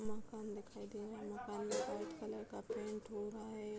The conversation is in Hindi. मकान दिखाई दे रहा है | मकान में व्‍हाईट कलर का पेंट हो रहा है ।